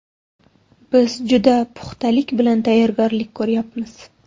Biz juda puxtalik bilan tayyorgarlik ko‘ryapmiz.